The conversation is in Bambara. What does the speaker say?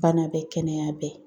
Bana bɛ kɛnɛya bɛ